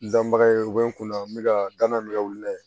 N danbaga ye u bɛ n kunna n bɛ ka danna n ka wuli la